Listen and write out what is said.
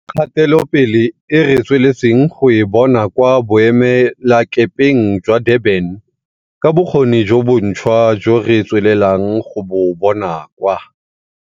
Ka kgatelopele e re tsweletseng go e bona kwa boemelakepeng jwa Durban, ka bokgoni jo bontšhwa jo re tswelelang go bo bona kwa